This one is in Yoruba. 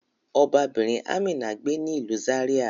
Ọbabirin Amina gbe ni ilu Zaria